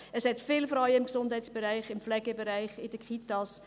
Es gibt viele Frauen im Gesundheitsbereich, im Pflegebereich, in den Kitas.